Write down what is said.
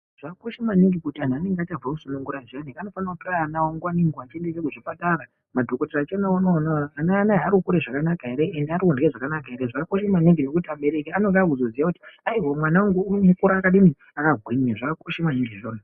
Zvakosha maningi kuti vantu vanenge vachabve kusunugura zviyani anofane kutore ana awo nguwa nenguwa echiende kuchipatara madhokoteya achiona kuti ana anaa arikukura zvakanaka ere arikurya zvakanaka ere zvakakosha maningi kuti abereki anenge akuzoziya kuti aiwa mwana wangu arikukura akagwinya.